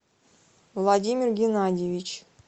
владимир геннадьевич